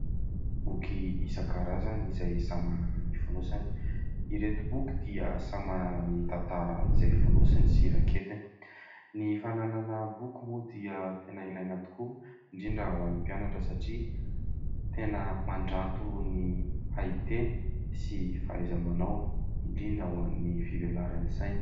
Boky isankarazany izay samy manana ny fonosany. Ireto boky dia samy manana ny tantara izay fonosiny sy raketiny. Ny fananana boky moa dia tena ilaina tokoa indrindra ho an'ny mpianatra satria tena mandranto ny haiteny sy fahaiza-manao indrindra ho any fivelaran'ny saina.